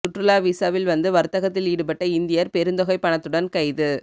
சுற்றுலா வீசாவில் வந்து வர்த்தகத்தில் ஈடுபட்ட இந்தியர் பெருந்தொகைப் பணத்துடன் கைது